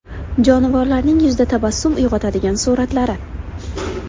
Jonivorlarning yuzda tabassum uyg‘otadigan suratlari.